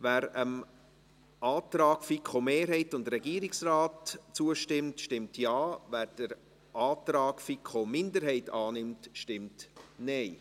Wer dem Antrag FiKo-Mehrheit / Regierungsrat zustimmt, stimmt Ja, wer den Antrag FiKo-Minderheit annimmt, stimmt Nein.